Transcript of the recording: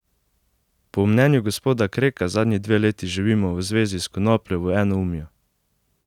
Po mnenju gospoda Kreka zadnji dve leti živimo v zvezi s konopljo v enoumju.